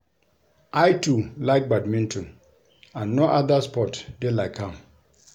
I too like badminton and no other sport dey like am